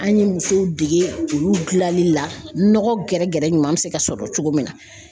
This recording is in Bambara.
An ye musow dege olu gilali la nɔgɔ gɛrɛgɛrɛ ɲuman be se ka sɔrɔ cogo min na